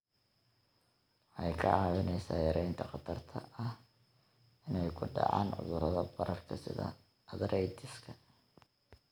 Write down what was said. Waxay kaa caawinaysaa yaraynta khatarta ah inay ku dhacaan cudurrada bararka sida arthritis-ka.